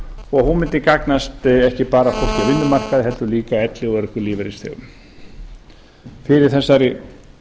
og hún mundi gagnast ekki bara fólki á vinnumarkaði heldur líka elli og örorkulífeyrisþegum fyrir þessari